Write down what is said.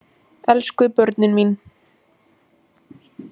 Elsku börnin mín!